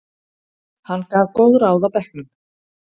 Hann gaf góð ráð á bekknum.